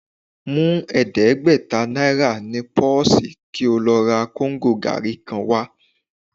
Mú ẹ̀ẹ́dẹ́gbẹ̀ta náírà ní pọ́ọ̀sì kí ó lọ ra kóńgò gàárì kan wá